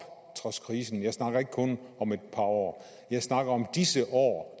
trods krisen jeg snakker ikke kun om et par år jeg snakker om disse år